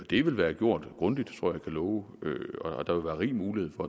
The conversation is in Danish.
det vil være gjort grundigt tror jeg kan love og der vil være rig mulighed for